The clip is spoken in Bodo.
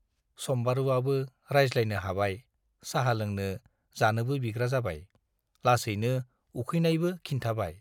सम्बारुवाबो रायज्लायनो हाबाय, साहा लोंनो, जानोबो बिग्रा जाबाय, लासैनो उखैनायबो खिन्थाबाय।